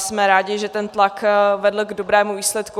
Jsme rádi, že ten tlak vedl k dobrému výsledku.